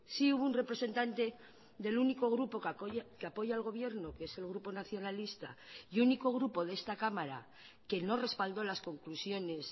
sí hubo un representante del único grupo que apoya al gobierno que es el grupo nacionalista y único grupo de esta cámara que no respaldó las conclusiones